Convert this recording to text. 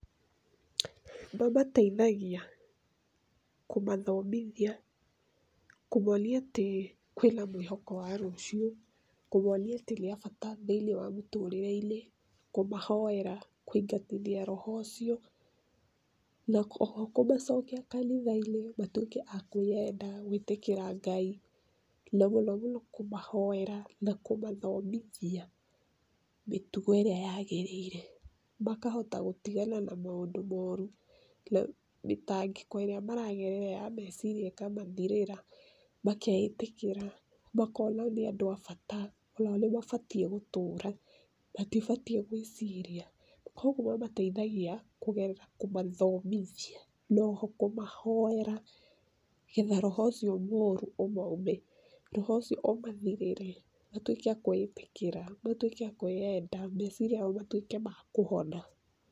Mamateithagia kũmathomithia, kũmonia atĩ kwĩna mwĩhoko wa rũciũ, kũmonia atĩ nĩ a bata thĩ-inĩ wa mũtũrĩre-inĩ, kũmahoera, kũingatithia roho ũcio, na o ho kũmacokia kanitha-inĩ, matuĩke a kwĩenda, gwĩtĩkĩra Ngai, na mũno mũno kũmahoera na kũmathomithia mĩtugo ĩrĩa yagĩrĩire. Makahota gũtigana na maũndũ moru, mĩtangĩko ĩrĩa maragerera ya meciria ĩmakamathirĩra. makeĩtĩkĩra, makona nĩ andũ a bata, o nao nĩ mabatiĩ gũtũra, matibatiĩ gwĩciria. Koguo mamateithagia kũgerera kũmathomithia, noho kũmahoera, nĩgetha roho ũcio mũru ũmaume. roho ũcio ũmathirĩre, matuĩke a kwĩĩtĩkĩra, matuĩke a kwĩenda. meciria mao matuĩke ma kũhona.